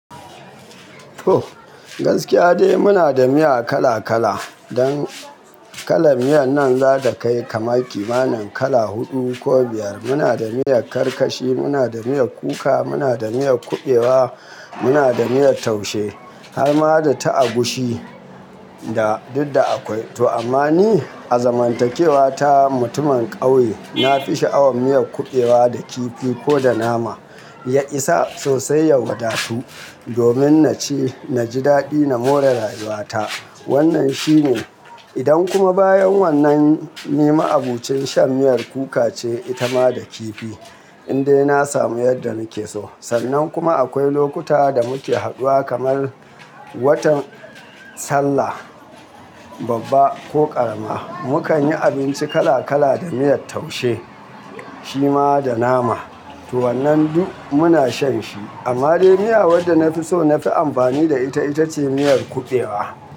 Toh, gaskiya dai muna da miya kala kala. Don kalan miyan nan za ta kai kamar kimanin kala huɗu ko biyar. Muna da miyar karkashi, muna da miyar kuka, muna da miyar kuɓewa, muna da miyar taushe, har ma da ta agushi da duk da akwai. To amma ni, a zamantakewa ta mutumin ƙauye, na fi sha'awar miyar kuɓewa da kifi ko da nama. Ya isa sosai ya wada tu, domin na ci na ji daɗi na more rayuwa ta. Wannan shi ne. Idan kuma bayan wannan, ni ma'abocin shan miyar kuka ce ita ma da kifi, in dai na samu yadda nake so. Sannan kuma akwai lokuta da muke haduwa kamar watan sallah babba ko ƙarama, mu kan yi abinci kala kala da miyar taushe, shi ma da nama. To wannan duk muna shan shi. Amma dai miya wadda na fi so na fi amfani da ita, ita ce miyar kuɓewa.